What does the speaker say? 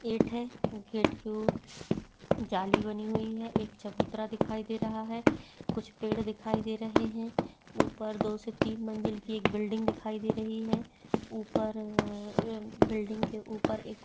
gate है gate के जाली बनी हुई है एक चबूतरा दिखाई दे रहा है कुछ पेड दिखाई दे रहे है ऊपर दो से तीन मंजिल की एक बिल्डिंग दिखाई दे रही है ऊपर रर बिल्डिंग के ऊपर एक--